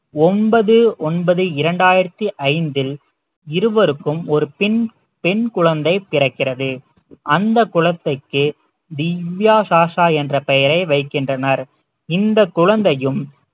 ஒன்பது ஒன்பது இரண்டாயிரத்தி ஐந்தில் இருவருக்கும் ஒரு பெண் பெண் குழந்தை பிறக்கிறது அந்த குழந்தைக்கு திவ்யா சாஷா என்ற பெயரை வைக்கின்றனர் இந்த குழந்தையும்